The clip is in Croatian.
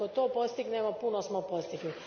Ako to postignemo, puno smo postigli.